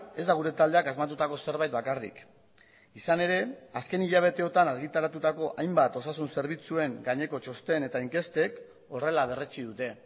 ez da gure taldeak asmatutako zerbait bakarrik izan ere azken hilabeteotan argitaratutako hainbat osasun zerbitzuen gaineko txosten eta inkestek horrela berretsi dute